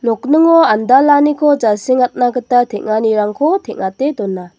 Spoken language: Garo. nokningo andalaniko jasengatna gita teng·anirangko teng·ate dona.